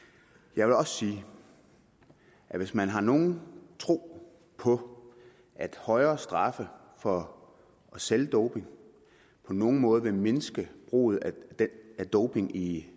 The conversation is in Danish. jeg vil også sige at hvis man har nogen tro på at højere straffe for salg af doping på nogen måde vil mindske brugen af doping i